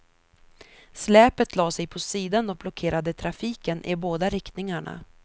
Släpet lade sig på sidan och blockerade trafiken i båda riktningarna.